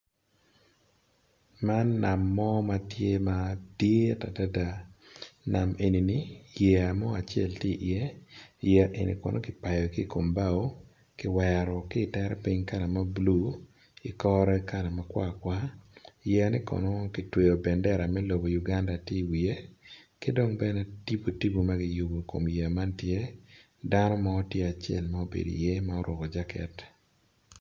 Man, mo ma ti adada, nam eni-ni yeya mo acel tye iye. yeya en kono ki pao ki kom bao, kiwero ki itere piny ki kala mabulu, ki kore kala makar, yeyane kono kitweyo bandera me uganda i wiye, ki dong tip tip ma kiyubo i kom yeya man tye, dano mo tye acel ma obedo iye ma oruku jaket.